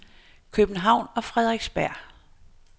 København og Frederiksberg